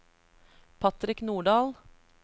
Patrick Nordahl